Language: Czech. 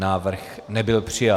Návrh nebyl přijat.